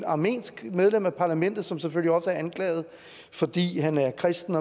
armensk medlem af parlamentet som selvfølgelig også er anklaget fordi han er kristen